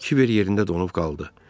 Kibər yerində donub qaldı.